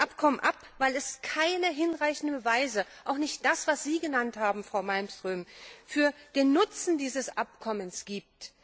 Wir lehnen dieses Abkommen ab, weil es keine hinreichenden Beweise auch nicht das, was Sie genannt haben, Frau Malmström für den Nutzen dieses Abkommens gibt.